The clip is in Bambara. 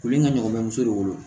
Kulu in ka ɲɔgɔn bɛ muso de wolo